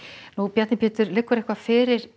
Bjarni Pétur liggur eitthvað fyrir